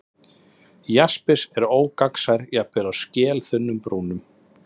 Jaspis er ógagnsær, jafnvel á skelþunnum brúnum.